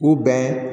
U bɛn